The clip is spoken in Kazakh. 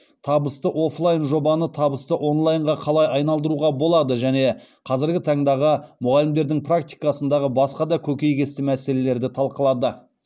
табысты офлайн жобаны табысты онлайнға қалай айналдыруға болады және қазіргі таңдағы мұғалімдердің практикасындағы басқа да көкейкесті мәселелерді талқылады